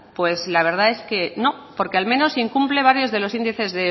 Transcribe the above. pues la verdad es que no porque al menos incumple varios de los índices